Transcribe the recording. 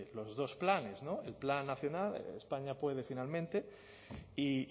los dos planes el plan nacional españa puede finalmente y